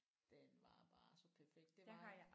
Den var bare så perfekt det var